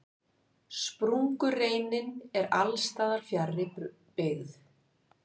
Sprungureinin er alls staðar fjarri byggð.